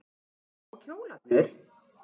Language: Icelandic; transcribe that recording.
Og kjólarnir.